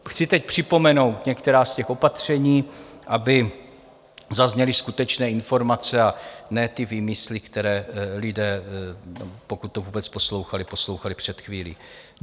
Chci teď připomenout některá z těch opatření, aby zazněly skutečné informace, a ne ty výmysly, které lidé, pokud to vůbec poslouchali, poslouchali před chvílí.